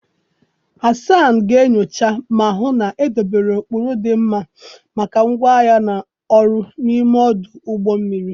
Hasan ga-enyocha ma hụ na edobere ụkpụrụ dị mma maka ngwa ahịa na ọrụ n'ime ọdụ ụgbọ mmiri.